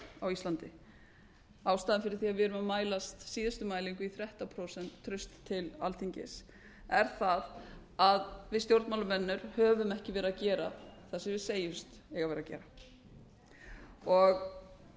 á íslandi ástæðan fyrir því að við erum að mæla síðustu mælingu í þrettán prósent traust til alþingis er það að við stjórnmálamenn höfum ekki verið að gera það sem við segjumst eiga að vera að gera